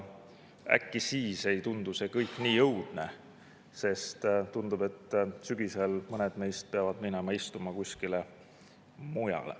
Äkki siis ei tundu see kõik nii õudne, sest tundub, et sügisel peavad mõned meist minema istuma kuskile mujale.